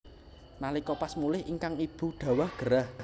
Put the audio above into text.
Nalika pas mulih ingkang ibu dhawah gerah